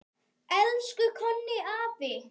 Elsku Konni afi.